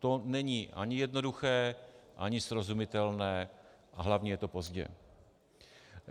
To není ani jednoduché, ani srozumitelné, a hlavně je to pozdě.